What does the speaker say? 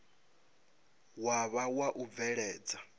wa vha wa u bveledza